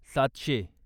सातशे